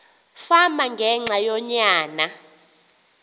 fama ngenxa yonyana